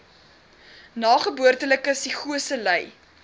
nageboortelike psigose ly